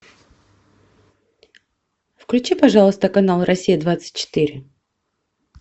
включи пожалуйста канал россия двадцать четыре